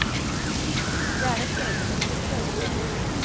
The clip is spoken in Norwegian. Det er et ensomt yrke også.